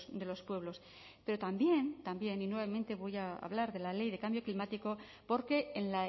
de los pueblos pero también también y nuevamente voy a hablar de la ley de cambio climático porque en